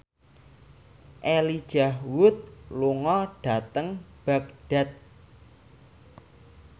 Elijah Wood lunga dhateng Baghdad